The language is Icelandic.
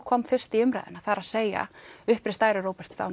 kom fyrst í umræðuna það er að segja uppreist æru Róberts